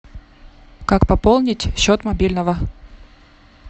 как пополнить счет мобильного